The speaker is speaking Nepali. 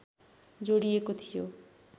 जोडिएको थियो